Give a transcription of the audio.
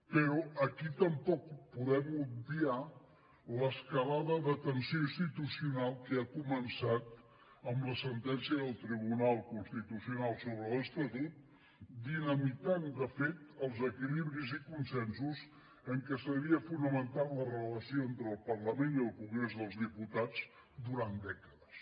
però aquí tampoc podem obviar l’escalada de tensió institucional que ha començat amb la sentència del tribunal constitucional sobre l’estatut dinamitant de fet els equilibris i consensos en què s’havia fonamentat la relació entre el parlament i el congrés dels diputats durant dècades